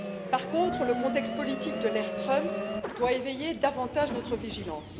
Par contre, le contexte politique de l'ère Trump doit éveiller davantage notre vigilance.